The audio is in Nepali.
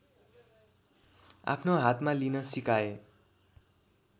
आफ्नो हातमा लिन सिकाए